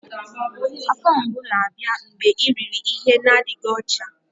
Afọ mgbu na-abịa mgbe i riri ihe n'adịghị ọcha